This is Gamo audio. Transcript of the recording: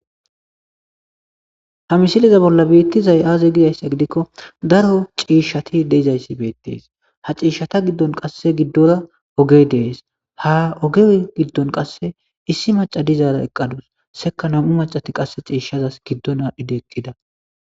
Ha misileza bolla beetizay aze giyayssa gidikko daro ciishshati de'izayssi beetees; ha ciishshata giddon qasse giddora ogey de'es; ha oge giddon qasse issi macca dizara eqqadus; sekka nam'u maccati qasse ciishshazas giddon aadhidi eqqida.